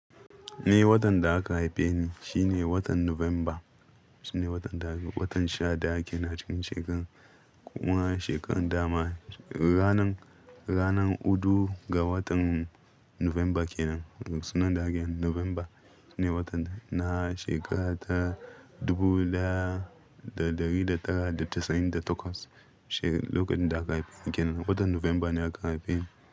Ni watan da aka haife ni shine watan Nuvemba, shine watan da, watan sha ɗaya kenan a cikin shekaran. Kuma shekaran dama ranan, ranan hudu ga watan Nuvemba kenan. Sunan daken Nuvemba shine watan na shekara ta dubu daya da ɗari da tara da casa'in da takwas. She-- lokacin da aka haife ni kenan, lokutan Nuvemba ne aka haife ni.